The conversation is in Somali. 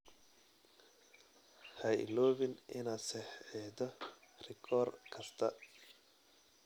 Ha iloobin inaad saxiixdo rikoor kasta.